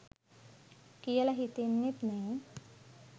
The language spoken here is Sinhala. කියල හිතෙන්නෙත් නෑ.